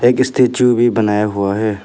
एक स्टैचू भी बनाया हुआ है।